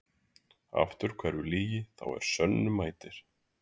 Aftur hverfur lygi þá er sönnu mætir.